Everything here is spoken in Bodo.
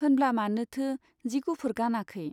होनब्ला मानोथो जि गुफुर गानाखै ?